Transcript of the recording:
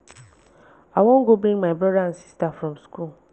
i wan go bring my broda and sista from skool.